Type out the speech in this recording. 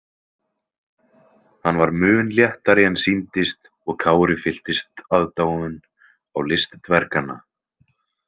Hann var mun léttari en sýndist og Kári fylltist aðdáun á list dverganna.